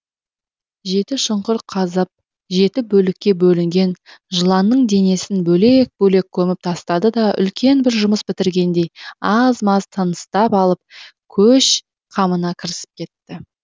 жеті шұңқыр қазып жеті бөлікке бөлінген жыланның денесін бөлек бөлек көміп тастады да үлкен бір жұмыс бітіргендей аз маз тыныстап алып көш қамына кірісіп кетті